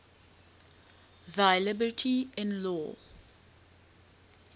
thy liberty in law